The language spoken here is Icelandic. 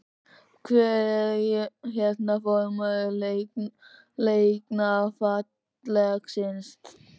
Hvar er, hérna, formaður Læknafélagsins?